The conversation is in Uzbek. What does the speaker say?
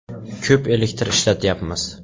Ko‘p elektr ishlatyapmiz.